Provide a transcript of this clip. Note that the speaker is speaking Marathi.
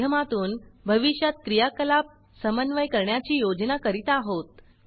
च्या माध्यमातून भविष्यात क्रियाकलाप समन्वय करण्याची योजना करीत आहोत